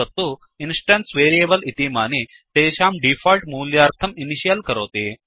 तत् instance variable इमानि तेषां डीफोल्ट् मूल्यार्थम् इनिशियल् करोति